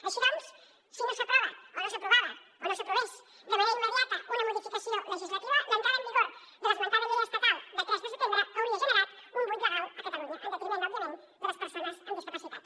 així doncs si no s’aprovava o no s’aprovés de manera immediata una modificació legislativa l’entrada en vigor de l’esmentada llei estatal de tres de setembre hauria generat un buit legal a catalunya en detriment òbviament de les persones amb discapacitat